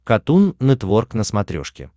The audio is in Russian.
катун нетворк на смотрешке